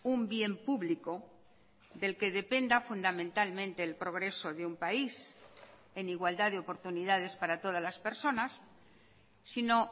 un bien público del que dependa fundamentalmente el progreso de un país en igualdad de oportunidades para todas las personas sino